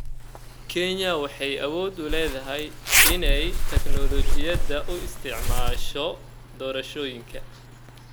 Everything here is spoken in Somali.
Kenya waxay awood u leedahay inay teknoolajiyada u isticmaasho doorashooyinka.